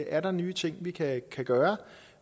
er nye ting vi kan gøre